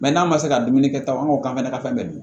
n'a ma se ka dumuni kɛ tan an b'o kan'a ka fɛn bɛɛ dun